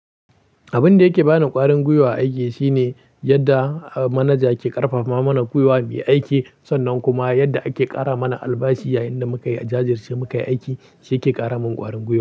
Abin da yake bani ƙwarin gwiwa a aiki shine yadda manaja ke ƙarfafa mana gwiwa muyi aiki. Sannan kuma yadda ake ƙara mana albashi yayin da muka yi jajirce mu kai aiki shike kara min ƙwarin gwiwa.